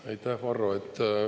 Aitäh, Varro!